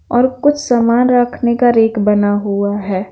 और कुछ सामान रखने का रेक बना हुआ हैं।